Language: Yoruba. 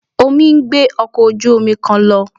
Omi ń gbé ọkọ̀ ojú-omi kan lọ